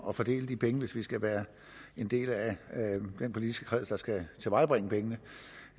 at fordele de penge hvis vi skal være en del af den politiske kreds der skal tilvejebringe pengene